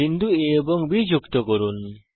বিন্দু A এবং B যুক্ত করুন